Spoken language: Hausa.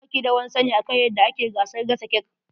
Ba ki da wani sani akan eyadda ake gasa cake.